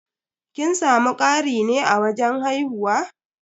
Kin samu ƙari ne a wajen haihuwa?